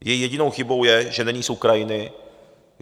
Její jedinou chybou je, že není z Ukrajiny.